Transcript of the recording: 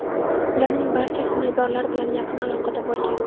Ularning barchasi bemorlar bilan yaqin aloqada bo‘lgan.